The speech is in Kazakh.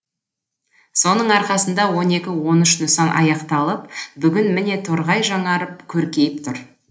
соның арқасында он екі он үш нысан аяқталып бүгін міне торғай жаңарып көркейіп тұр